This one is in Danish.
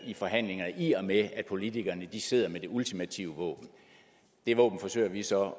i forhandlingerne i og med at politikerne sidder med det ultimative våben og det våben forsøger vi så